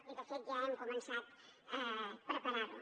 i de fet ja hem començat a preparar ho